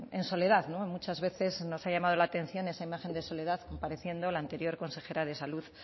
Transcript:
en soledad muchas veces nos ha llamado la atención esa imagen de soledad pareciendo la anterior consejera de salud